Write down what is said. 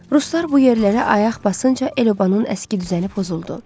Ruslar bu yerlərə ayaq basınca el-obanın əski düzəni pozuldu.